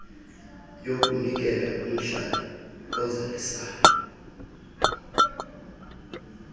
yokunikela kumhlabi ozalisayo